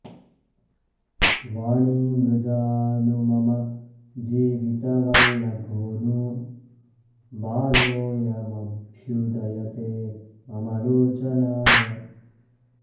वाणीमृजा नु मम जीवितवल्लभो नु बालोऽयमभ्युदयते मम लोचनाय